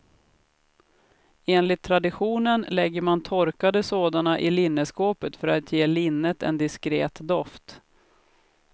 Enligt traditionen lägger man torkade sådana i linneskåpet för att ge linnet en diskret doft.